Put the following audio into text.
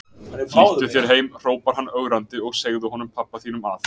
Flýttu þér heim hrópar hann ögrandi, og segðu honum pabba þínum að